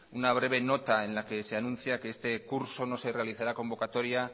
una breve nota en la que se anuncia que este curso no se realizará convocatoria